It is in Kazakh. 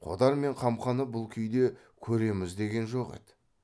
қодар мен қамқаны бұл күйде көреміз деген жоқ еді